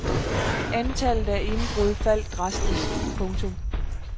Antallet af indbrud faldt drastisk. punktum